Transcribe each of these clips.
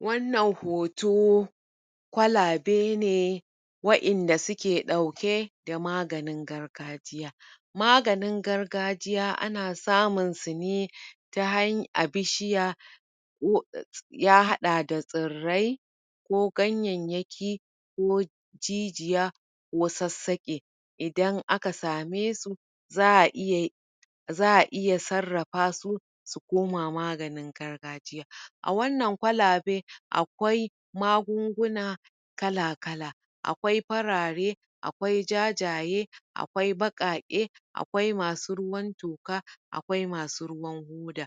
wannan hoto kwalabe ne wa'inda suke ɗauke da maganin gargajiya maganin gargajiya ana samun su ne tahan a bishiya ya haɗa da tsirrai ko ganyayyaki ko jijiya ko sassaƙe idan aka same su za'a iya za'a iya sarrafa su su koma maganin gargajiya a wannan kwalabe akwai magunguna kala-kala akwai farare akwai jajaye akwai baƙaƙe akwai masu ruwan toka akwai masu ruwan hoda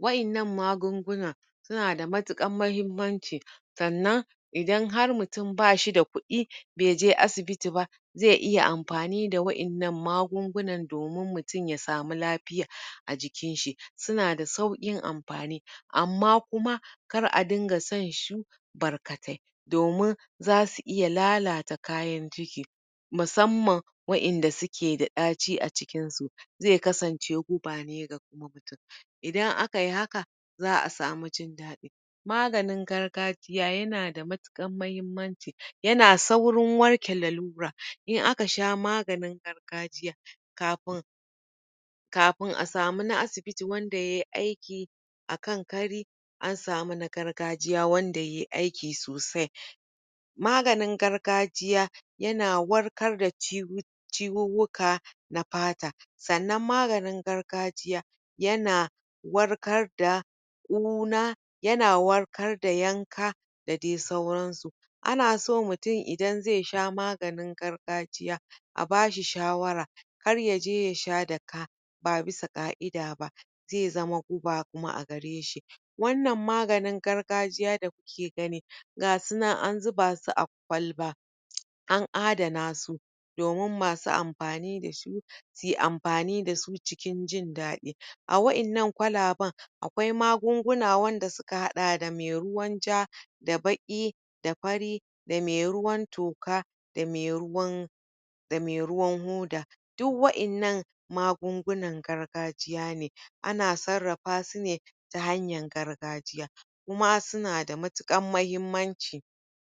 wa'innan magungunan suna ta matuƙar mahimmanci sannan idan har mutum bashi da kuɗi baije asibiti ba zai iya mafani da wa'innan magungunan domin mutum ya samu lafiya a jikin shi suna da sauƙin amfani amma kuma kar a dinga shan su barkatai domin zasu iya lalata kayan ciki musamman wa'inda suke da ɗaci a cikin su zai kasance guba ne ga kuma idan akayi haka za'a samu jin daɗi maganin gargajiya yana da matuƙar mahimmanci yana saurin warke lalura in aka sha maganin gargajiya kafin kafin a samu na asibiti wanda yayi aiki akan kari an samu na gargajiya wanda yayi aiki sosai maganin gargajiya yana warkar da ciwu ciwuwwuka na fata sannan maganin gargajiya yana warkar da ƙuna yana warkar da yanka da dai suran su anaso mutum idan zai sha maganin gargajiya a bashi shawara kar yaje yasha da ka ba bisa ƙa'ida ba zai zama guba kuma a gare shi. wannan maganin gargajiya da kuke gani gasunan an zuba su a kwalba an adana su domin masu amfani dasu suyi amfani dasu cikin jin daɗi a wa'innan kwalaban akwai magunguna wanda suka haɗa da me ruwan ja da baƙi da fari da me ruwan toka da me ruwan dame ruwan hoda. duk wa'innan magungunan gargajiya ne anan sarrafa su ne tahanyan gargajiya kuma suna da matuƙan mahimmanci.